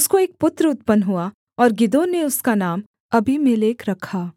उसको एक पुत्र उत्पन्न हुआ और गिदोन ने उसका नाम अबीमेलेक रखा